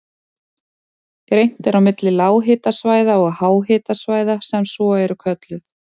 Greint er á milli lághitasvæða og háhitasvæða sem svo eru kölluð.